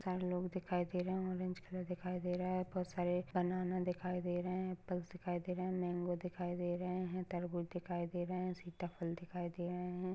चार लोग दिखाई दे रहे है ऑरेंज कलर दिखाई दे रहा है बहुत सारे बनाना दिखाई दे रहे है अप्प्लस दिखाई दे रहे है मँगो दिखाई दे रहे है तरबूज दिखाई दे रहे है सीताफल दिखाई दे रहे है।